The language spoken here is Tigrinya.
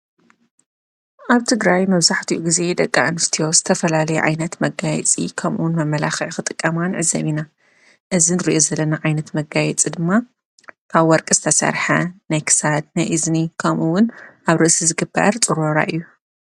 ኣብ ትግራይ መብዙሕቲኡ ጊዜ ደቂ እንስትዮ ዝተፈላለ ዓይነት መጋይፂ ከምውን መመላኽዕ ኽጥቀማንዕዘቢና እዝን ርእየ ዘለና ዓይነት መጋይጽ ድማ ካብ ወርቂ ዝተሠርሐ ናይ ክሳድ ናይ እዝኒ ከምኡውን ኣብ ርእሲ ዝግበዕር ጽረራ እዩ።